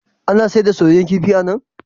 Ana sayar da soyayyen kifi a nan?